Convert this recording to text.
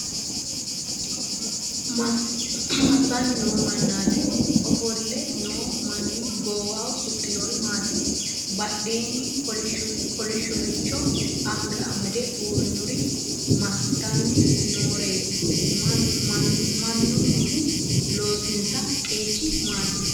Massanni noo mannaati? Ofolle noo manni goowaho suxxinori maati? Badheenni kolishshoricho anga amadde uurritinori massitanni nooreeti? Mannunnihu loosinsa qeechi maati?